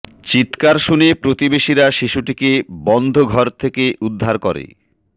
চিৎকার শুনে প্রতিবেশীরা শিশুটিকে বন্ধ ঘরে থেকে উদ্ধার করে